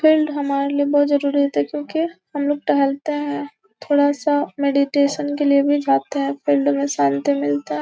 Field हमारे लिए बहुत जरूरी होते हैं क्योंकि हमलोग टहलते हैं थोड़ा सा मैडिटेशन के लिए भी जाते हैं फील्ड में शांति मिलता हैं।